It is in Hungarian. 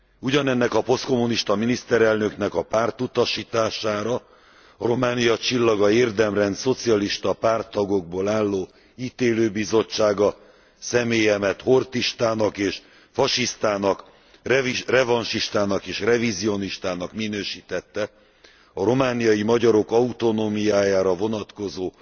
Ugyanennek a posztkommunista miniszterelnöknek a pártutasítására a Románia Csillaga érdemrend szocialista párttagokból álló ítélőbizottsága személyemet horthystának és fasisztának, revansistának és revizionistának minősítette a romániai magyarok autonómiájára vonatkozó